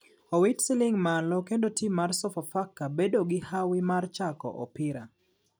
Owito siling malo kendo tim mar sofa faka bedo gi hawi mar chako opira.